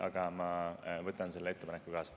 Aga ma võtan selle ettepaneku kaasa.